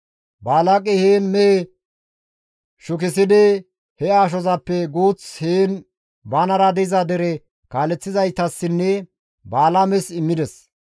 Balaaqey heen mehe shukissidi he ashozappe guuth heen banara diza dere kaaleththizaytassinne Balaames immides.